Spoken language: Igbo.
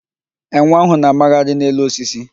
Enwe ahụ na-a magharị n'elu osisi.